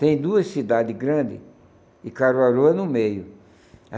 Tem duas cidades grandes e Caruaru é no meio.